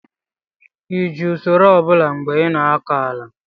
ị ji usoro ọ bụla mgbe ị na-akọ ala?